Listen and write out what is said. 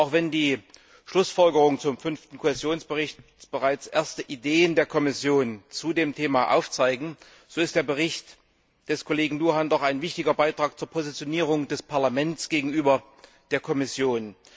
Auch wenn die Schlussfolgerungen zum Fünften Kohäsionsbericht bereits erste Ideen der Kommission zu dem Thema aufzeigen, so ist der Bericht des Kollegen Luhan doch ein wichtiger Beitrag zur Positionierung des Parlaments gegenüber der Kommission.